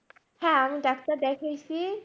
হ্যাঁ আমি ডাক্তার দেখাইছি